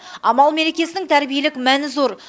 амал мерекесінің тәрбиелік мәні зор